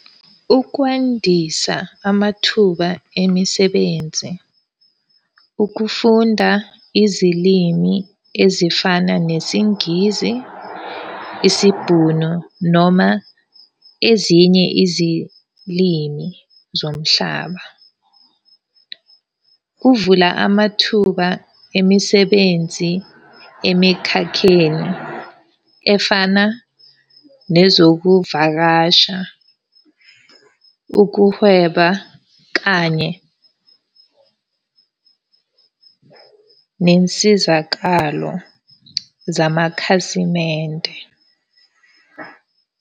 Ukwandisa amathuba emisebenzi. Ukufunda izilimi ezifana nesiNgisi, isiBhunu noma ezinye izilimi zomhlaba. Kuvula amathuba emisebenzi emikhakheni efana nezokuvakasha, ukuhweba kanye nensizakalo zamakhasimende.